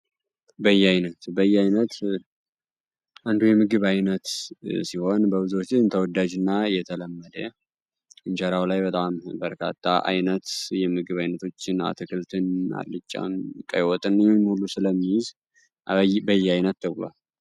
በያይነቱ በያይነቱ የምግብ ዓይነት ሲሆን ተወዳጅና የተለመደ እንጀራ ላይ በጣም በርካታ ዓይነት የምግብ አይነቶችን በያይነቱ